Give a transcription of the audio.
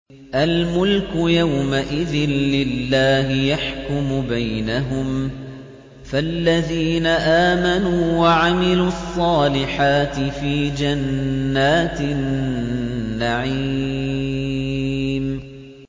الْمُلْكُ يَوْمَئِذٍ لِّلَّهِ يَحْكُمُ بَيْنَهُمْ ۚ فَالَّذِينَ آمَنُوا وَعَمِلُوا الصَّالِحَاتِ فِي جَنَّاتِ النَّعِيمِ